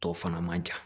Tɔ fana man ca